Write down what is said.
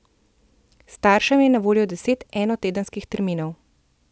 Staršem je na voljo deset enotedenskih terminov.